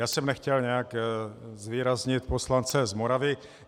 Já jsem nechtěl nějak zvýraznit poslance z Moravy.